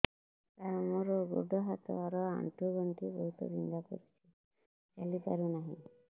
ସାର ମୋର ଗୋଡ ହାତ ର ଆଣ୍ଠୁ ଗଣ୍ଠି ବହୁତ ବିନ୍ଧା କରୁଛି ଚାଲି ପାରୁନାହିଁ